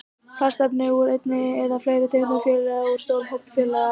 Plastefni eru efni úr einni eða fleiri tegundum fjölliða úr stórum hópi fjölliða.